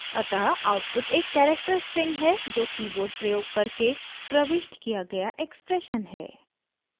अतः आउटपुट एक character string है जो कीबोर्ड प्रयोग करके प्रविष्ट किया गया एक्सप्रेशन है